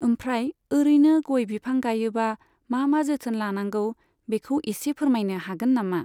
ओमफ्राय ओरैनो गय बिफां गायोबा मा मा जोथोन लानांगौ बेखौ इसे फोरमायनो हागोन नामा?